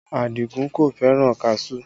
Adigun kò fẹ́ràn kaṣuú